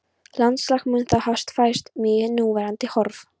Landslag mun þá hafa færst mjög í núverandi horf.